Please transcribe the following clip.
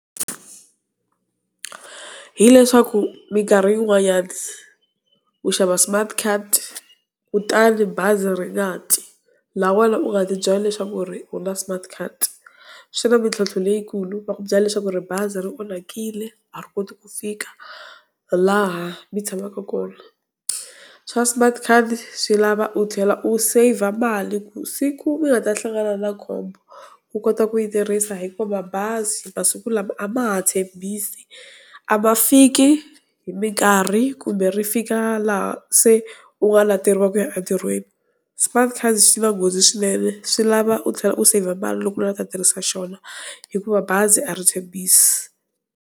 Hi leswaku minkarhi yin'wanyana, u xava smart card kutani bazi ri nga ti laha wena u nga ti byela leswaku ku ri u na smart card. Swi na mintlhotlho leyikulu va ku byela leswaku ri bazi ri onhakile a ri koti ku fika laha mi tshamaka kona. Swa smart card swi lava u tlhela u save-a mali ku siku mi nga ta hlangana na khombo u kota ku yi tirhisa hikuva mabazi masiku lama a ma ha tshembisi a ma fiki hi minkarhi, kumbe ri fika laha se u nga leteriwa ku ya etirhweni. Smart card xi na nghozi swinene swi lava u tlhela u save-a mali loko u lava ku ta tirhisa xona hikuva bazi a ri tshembisi.